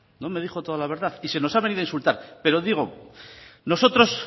no me dijo toda la verdad y se nos ha venido a insultar pero digo nosotros